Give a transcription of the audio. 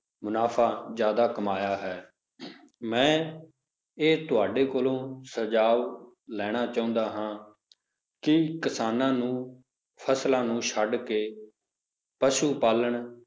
ਮੁਨਾਫ਼ਾ ਜ਼ਿਆਦਾ ਕਮਾਇਆ ਹੈ ਮੈਂ ਇਹ ਤੁਹਾਡੇ ਕੋਲੋਂ ਸੁਝਾਵ ਲੈਣਾ ਚਾਹੁੰਦਾ ਹਾਂ ਕਿ ਕਿਸਾਨਾਂ ਨੂੰ ਫਸਲਾਂ ਨੂੰ ਛੱਡ ਕੇ ਪਸੂ ਪਾਲਣ